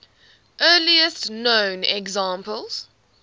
earliest known examples